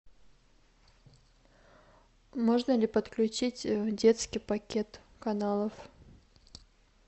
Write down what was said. можно ли подключить детский пакет каналов